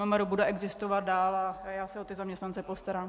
MMR bude existovat dál a já se o ty zaměstnance postarám.